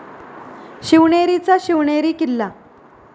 शिवनेरीचा Shivneri Killa